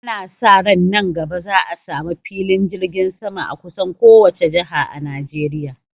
Ana sa ran nan gaba za a sa mu filin jirgin sama a kusan kowace jaha a Najeriya